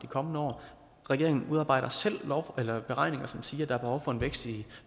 kommende år og regeringen udarbejder selv beregninger som siger at der er behov for en vækst i